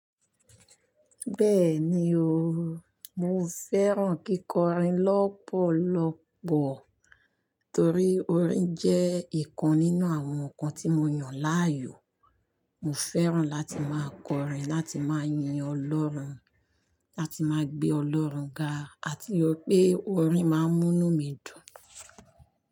Bẹ́ẹ̀ni o, mo fẹ́ràn kíkọrin lọ́pọ̀lọ́pọ̀ torí orin jẹ́ ìkan nínú àwọn ǹkan tí mo yàn láàyò. Mo fẹ́ràn láti máa kọrin láti máa yin Ọlọ́run, láti máa gbé Ọlọ́run ga àti wi pé orin máa ń mú inu mí dùn.